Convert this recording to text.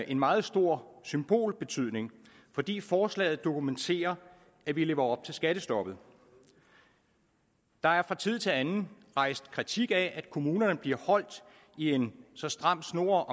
en meget stor symbolbetydning fordi forslaget dokumenterer at vi lever op til skattestoppet der er fra tid til anden rejst kritik af at kommunerne bliver holdt i en så stram snor